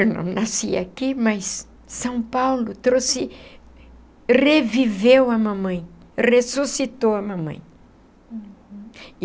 Eu não nasci aqui, mas São Paulo trouxe, reviveu a mamãe, ressuscitou a mamãe. Uhum.